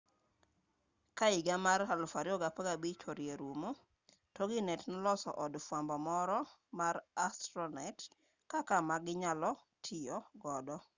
ka higa mar 2015 orie rumo toginet noloso od fwambo moro mar astronet kaka maginyalo tiyo godo